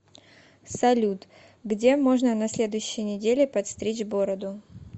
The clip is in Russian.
салют где можно на следующей неделе подстричь бороду